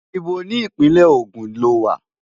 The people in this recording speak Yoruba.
Íbo ni Ìpínlẹ̀ Ogun lo wà?